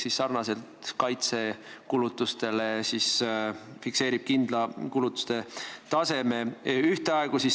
Sarnaselt kaitsekulutustega fikseeritakse kindel kulutuste tase.